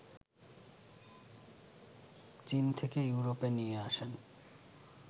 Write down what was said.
চীন থেকে ইউরোপে নিয়ে আসেন